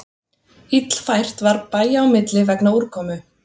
Illfært var bæja á milli vegna úrkomu